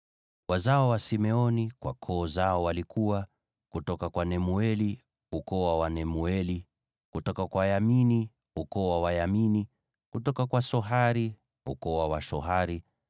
Wazao wa Simeoni kwa koo zao walikuwa: kutoka kwa Nemueli, ukoo wa Wanemueli; kutoka kwa Yamini, ukoo wa Wayamini; kutoka wa Yakini, ukoo wa Wayakini;